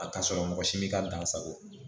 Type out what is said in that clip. A ka sɔrɔ mɔgɔ si bɛ ka dan sago